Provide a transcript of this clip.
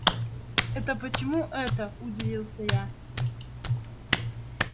это почему это удивился я